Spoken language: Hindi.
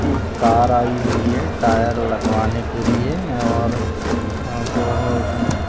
एक कार आयी हुई है टायर लगवाने के लिए और बहु अ --